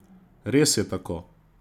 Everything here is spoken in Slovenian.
Res je tako?